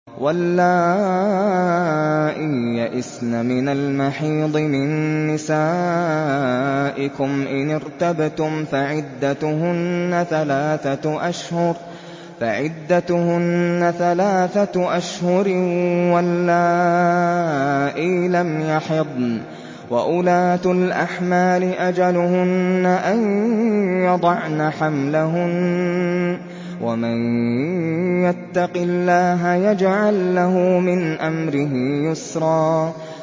وَاللَّائِي يَئِسْنَ مِنَ الْمَحِيضِ مِن نِّسَائِكُمْ إِنِ ارْتَبْتُمْ فَعِدَّتُهُنَّ ثَلَاثَةُ أَشْهُرٍ وَاللَّائِي لَمْ يَحِضْنَ ۚ وَأُولَاتُ الْأَحْمَالِ أَجَلُهُنَّ أَن يَضَعْنَ حَمْلَهُنَّ ۚ وَمَن يَتَّقِ اللَّهَ يَجْعَل لَّهُ مِنْ أَمْرِهِ يُسْرًا